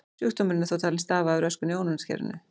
Sjúkdómurinn er þó talinn stafa af röskun í ónæmiskerfinu.